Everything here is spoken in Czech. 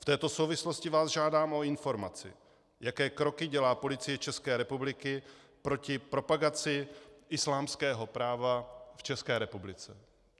V této souvislosti vás žádám o informaci, jaké kroky dělá Policie České republiky proti propagaci islámského práva v České republice.